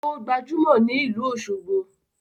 O gbajumo ni ilu Oshogbo